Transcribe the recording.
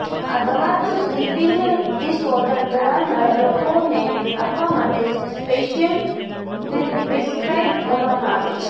આ દવા તો સ્લીપિંગ ડિસઓર્ડર ધરાવનારા લોકોને આપવા માટે સ્પેશિયલ પ્રિસ્ક્રાઇબ કરવામાં આવે છે